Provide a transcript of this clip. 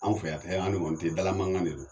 Anw fɛ yan fɛ an ɲɔgɔn te ye dala mankan de don.